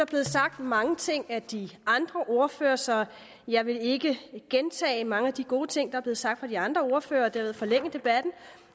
blevet sagt mange ting af de andre ordførere så jeg vil ikke gentage mange af de gode ting der er blevet sagt af de andre ordførere og dermed forlænge debatten